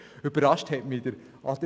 Adrian Haas hat mich überrascht.